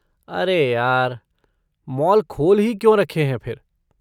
अरे यार! मॉल खोल ही क्यों रखे हैं फिर?